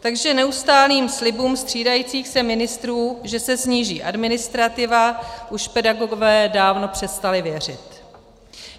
Takže neustálým slibům střídajících se ministrů, že se sníží administrativa, už pedagogové dávno přestali věřit.